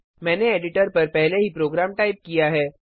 मैंने एडिटर पर पहले ही प्रोग्राम टाइप किया है